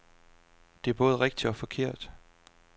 Det er både rigtigt og forkert.